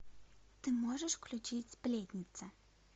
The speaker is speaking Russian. ты можешь включить сплетница